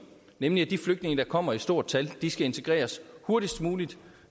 nemlig at de flygtninge der kommer i stort tal skal integreres hurtigst muligt